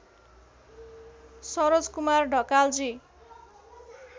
Saroj Kumar Dhakalji